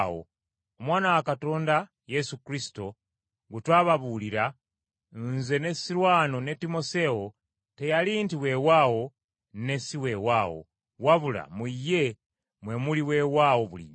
Omwana wa Katonda Yesu Kristo gwe twababuulira, nze ne Sirwano ne Timoseewo teyali nti weewaawo ne si weewaawo, wabula mu ye mwe muli weewaawo bulijjo.